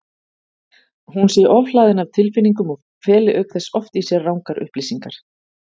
Hún sé ofhlaðin af tilfinningum og feli auk þess oft í sér rangar upplýsingar.